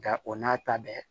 Nga o n'a ta bɛɛ